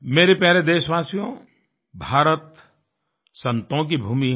मेरे प्यारे देशवासियोंभारत संतों की भूमि है